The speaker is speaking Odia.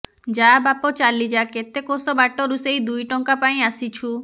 ଯା ବାପ ଚାଲି ଯା କେତେ କୋଶ ବାଟରୁ ସେଇ ଦୁଇ ଟଙ୍କା ପାଇଁ ଆସିଛୁ